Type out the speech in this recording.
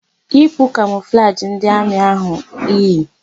Yipu kamọflajị ndị amị áhụ̀ iyi!